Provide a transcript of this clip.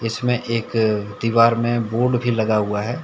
इसमें एक दीवार में बोर्ड भी लगा हुआ है।